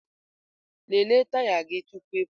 Lelee taya gị tupu ị pụọ!